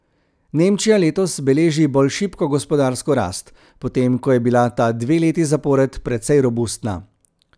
Nemčija letos beleži bolj šibko gospodarsko rast, potem ko je bila ta dve leti zapored precej robustna.